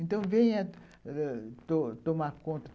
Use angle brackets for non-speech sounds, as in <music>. Então, venha <unintelligible> tomar conta.